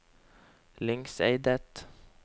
Lyngseidet